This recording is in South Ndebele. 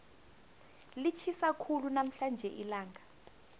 litjhisa khulu namhlanje ilanga